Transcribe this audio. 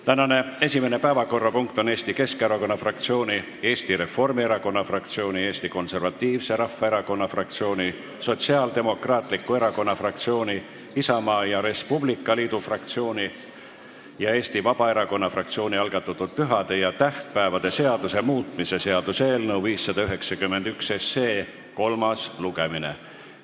Tänane esimene päevakorrapunkt on Eesti Keskerakonna fraktsiooni, Eesti Reformierakonna fraktsiooni, Eesti Konservatiivse Rahvaerakonna fraktsiooni, Sotsiaaldemokraatliku Erakonna fraktsiooni, Isamaa ja Res Publica Liidu fraktsiooni ja Eesti Vabaerakonna fraktsiooni algatatud pühade ja tähtpäevade seaduse muutmise seaduse eelnõu 591 kolmas lugemine.